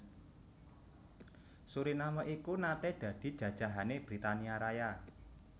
Suriname iku naté dadi jajahané Britania Raya